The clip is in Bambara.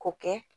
K'o kɛ